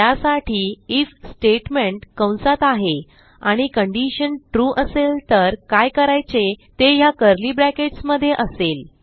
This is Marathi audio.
त्यासाठी आयएफ स्टेटमेंट कंसात आहे आणि कंडिशन ट्रू असेल तर काय करायचे ते ह्या कर्ली ब्रॅकेट्स मधे असेल